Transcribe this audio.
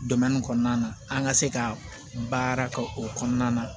kɔnɔna na an ka se ka baara kɛ o kɔnɔna na